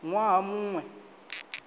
ṅ waha mu ṅ we